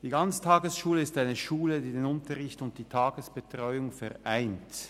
Die Ganztagesschule ist eine Schule, die den Unterricht und die Tagesbetreuung vereint.